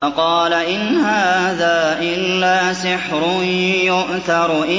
فَقَالَ إِنْ هَٰذَا إِلَّا سِحْرٌ يُؤْثَرُ